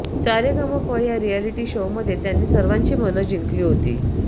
सारेगमप या रिऍलिटी शोमध्ये त्यांनी सर्वांची मनं जिंकली होती